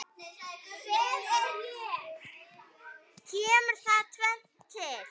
Kemur þar tvennt til.